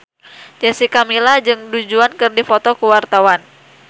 Jessica Milla jeung Du Juan keur dipoto ku wartawan